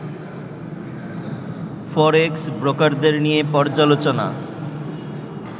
ফরেক্স ব্রোকারদের নিয়ে পর্যালোচনা